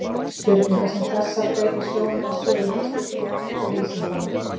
Spurningar sem þessar beina sjónum að sögu heimspekinnar og vísindanna.